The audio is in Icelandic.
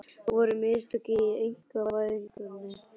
Voru mistök í einkavæðingunni?